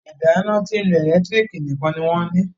ìdáná tín ló ẹlẹ́lẹtiriki nìkàn ní wón ní.